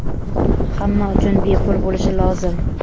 hamma uchun bepul bo‘lishi lozim.